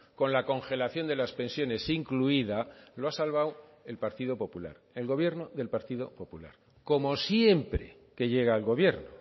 con la congelación de las pensiones incluida lo ha salvado el partido popular el gobierno del partido popular como siempre que llega al gobierno